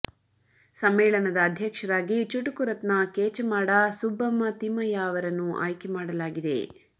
ಸಮ್ಮೇಳನದ ಅಧ್ಯಕ್ಷರಾಗಿ ಚುಟುಕು ರತ್ನ ಕೇಚಮಾಡ ಸುಬ್ಬಮ್ಮ ತಿಮ್ಮಯ್ಯ ಅವರನ್ನು ಆಯ್ಕೆ ಮಾಡಲಾಗಿದೆ